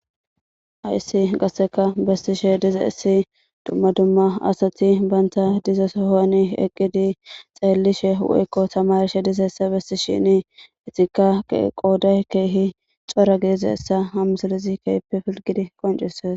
hayssi qasseka bettishe dizayssi dumma dumma asati banta diza sohani eqqidi xeelishe woykko tamarishe dizayssa besishini etikka qooday keehi cora gidizayssa ha misilezi keehippe filligidi qoncises